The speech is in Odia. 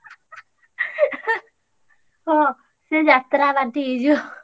ହଁ ସିଏ ଯାତ୍ରା party ହେଇଯିବ।